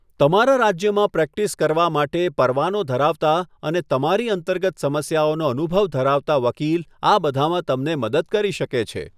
તમારા રાજ્યમાં પ્રેક્ટિસ કરવા માટે પરવાનો ધરાવતા અને તમારી અંતર્ગત સમસ્યાઓનો અનુભવ ધરાવતા વકીલ આ બધામાં તમને મદદ કરી શકે છે.